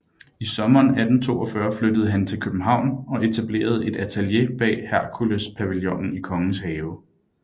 I sommeren 1842 flyttede han til København og etablerede et atelier bag Herkulespavillonen i Kongens Have